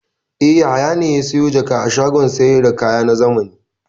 E, Yahaya ne ya sayo jaka a shagon sayar da kaya na zamani.